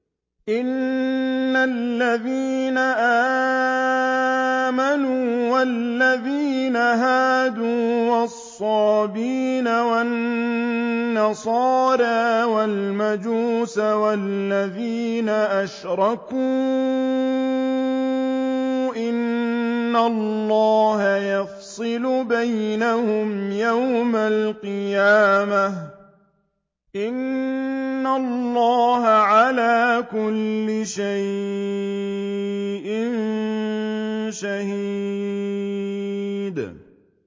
إِنَّ الَّذِينَ آمَنُوا وَالَّذِينَ هَادُوا وَالصَّابِئِينَ وَالنَّصَارَىٰ وَالْمَجُوسَ وَالَّذِينَ أَشْرَكُوا إِنَّ اللَّهَ يَفْصِلُ بَيْنَهُمْ يَوْمَ الْقِيَامَةِ ۚ إِنَّ اللَّهَ عَلَىٰ كُلِّ شَيْءٍ شَهِيدٌ